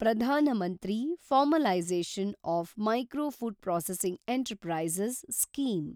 Pradhan Mantri formalisation of micro food processing enterprises scheme